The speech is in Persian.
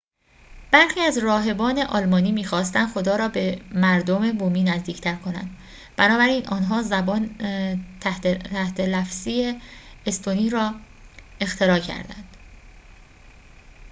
برخی از راهبان آلمانی می خواستند خدا را به مردم بومی نزدیک‌تر کنند بنابراین آنها زبان تحت لفظی استونی را اختراع کردند